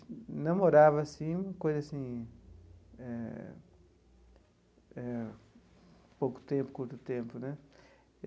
Namorava, assim, uma coisa assim eh eh... Pouco tempo, curto tempo, né?